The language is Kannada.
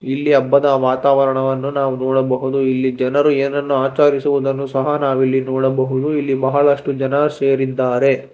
ಇಲ್ಲಿ ಹಬ್ಬದ ವಾತಾವರ್ಣವನ್ನು ನಾವು ನೋಡಬಹುದು ಇಲ್ಲಿ ಜನರು ಏನ್ನನೋ ಆಚರಿಸುವುದನ್ನು ಸಹ ನಾವ್ ಇಲ್ಲಿ ನೋಡಬಹುದು ಇಲ್ಲಿ ಬಹಳಷ್ಟು ಜನ ಸೇರಿದ್ದಾರೆ.